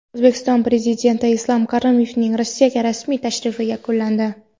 O‘zbekiston Prezidenti Islom Karimovning Rossiyaga rasmiy tashrifi yakunlandi.